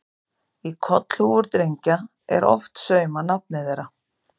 Í kollhúfur drengja er oft saumað nafnið þeirra.